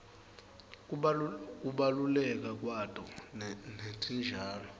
kubaluleka kwato netitjalo